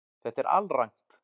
Þetta er alrangt